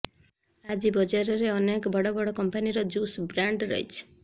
ଆଜି ବଜାରରେ ଅନେକ ବଡ଼ ବଡ଼ କମ୍ପାନିର ଜୁସ୍ ବ୍ରାଣ୍ଡ ରହିଛି